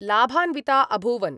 लाभान्वित अभूवन्।